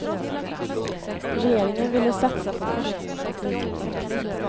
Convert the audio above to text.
Regeringen ville satsa på forskning och teknikutveckling.